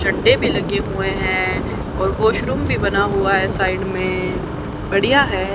चढ्ढे भी लगे हुए हैं और वॉशरूम भी बना हुआ है साइड में बढ़िया है।